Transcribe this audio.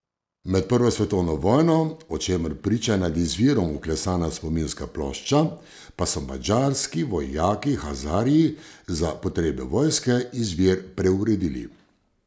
Med prvo svetovno vojno, o čemer priča nad izvirom vklesana spominska plošča, pa so madžarski vojaki Hazarji za potrebe vojske izvir preuredili.